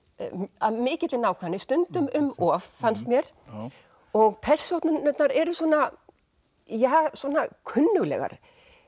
af mikilli nákvæmni stundum um of fannst mér og persónurnar eru svona kunnuglegar